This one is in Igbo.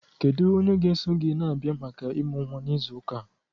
Kedu onye ga-eso gị na-abịa maka ịmụ nwa n'izu ụka a?